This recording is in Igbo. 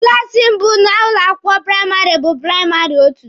Klaasi mbụ n'ụlọ akwụkwọ praịmarị bụ praịmarị otu.